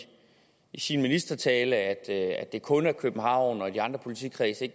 sin ministertale at det kun er i københavn og ikke i de andre politikredse